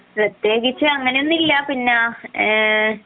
പ്രത്യേകിച്ച് അങ്ങനെ ഒന്നല്ല പിന്നെ